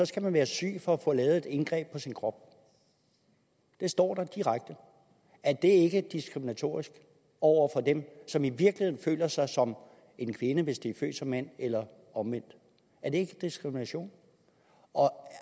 skal man være syg for at få lavet et indgreb på sin krop det står der direkte er det ikke diskriminatorisk over for dem som i virkeligheden føler sig som en kvinde hvis de er født som mand eller omvendt er det ikke diskrimination